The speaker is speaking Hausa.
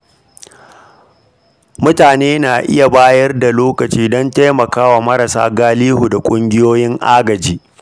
Mutane na iya bayar da lokaci don taimakawa marasa galihu da ƙungiyoyin agaji.